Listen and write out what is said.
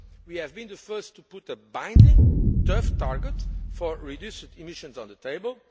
We have been the first to put a binding, tough target for reduced emissions on the table.